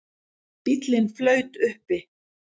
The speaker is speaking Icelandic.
Bíllinn flaut uppi